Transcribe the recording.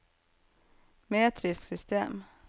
metrisk system